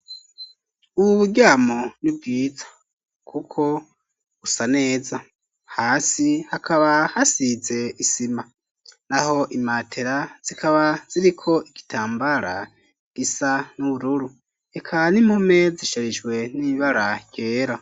Ubu buryamo ni bwiza kuko busa neza, hasi hakaba hasize isima, naho imatera zikaba ziriko igitambara gisa n'ubururu, eka n'impome zisharijwe n'ibara ryera.